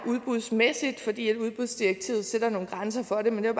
udbudsmæssigt i danmark fordi udbudsdirektivet sætter nogle grænser for det men jeg